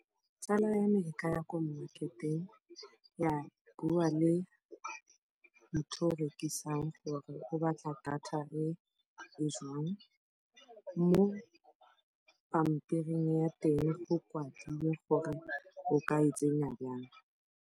Tsala ya me e ka ya kwa mmaketeng, ya bua le motho yo a rekisang gore o batla data efe, mo pampiring ya teng go kwadilwe gore o ka e tsenya jang.